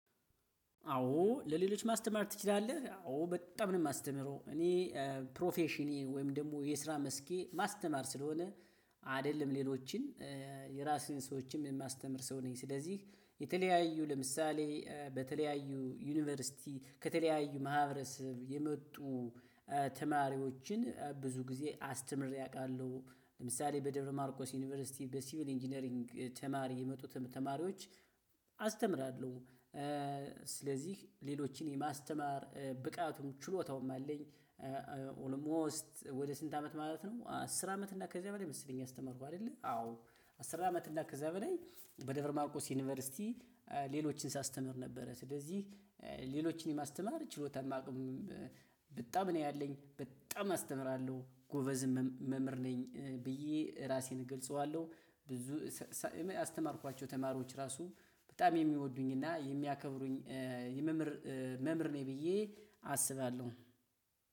አዎ ለሌሎች ማስተማር ትችላለህ? አዎ በጣም ነው። ማስተምረው እኔ ፕሮፌሽኔ ወይም ደሞ የስራ መስኬ ማስተማር ስለሆነ አደለም ሌሎችን የራስህን ሰዎችንም ማስተምር ሰው ነኝ። ስለዚህ የተለያዩ ለምሳሌ በተለያዩ ዩኒቨርሲቲ ከተለያዩ ማህበረሰብ የመጡ ተማሪዎችን ብዙ ጊዜ አስተምሬ አውቃለሁ። ለምሳሌ በደብረ ማርቆስ ዩኒቨርሲቲ በሲቪል ኢንጂነሪንግ ተማሪ የመጡትም ተማሪዎች አስተምራለሁ። ስለዚህ ሌሎችን የማስተማር ብቃቱም ችሎታውም አለኝ። ኦልሞስት ወደ ስንት አመት ማለት ነው? አስር አመት እና ከዚያ በላይ መሰለኝ ያስተማርኩ አደለ አዎ። አስር አመት እና ከዚያ በላይ በደብር ማርቆስ ዩኒቨርሲቲ ሌሎችን ሳስተምር ነበረ። ስለዚህ ሌሎችን የማስተማር ችሎታማ አቅምም በጣም ነው ያለኝ። በጣም አስተምራለሁ ጎበዝም መ መምህር ነኝ ብዬ ራሴን እገልጸዋለሁ። ብዙ ያስተማርኳቸው ተማሪዎች ራሱ በጣም የሚወዱኝ እና የሚያከብሩኝ የመምር መምር ነኝ ብዬ አስባለሁ።